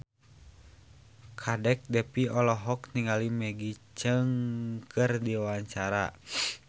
Kadek Devi olohok ningali Maggie Cheung keur diwawancara